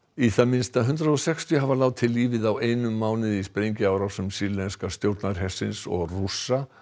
í það minnsta hundrað og sextíu hafa látið lífið á einum mánuði í sprengjuárásum sýrlenska stjórnarhersins og Rússa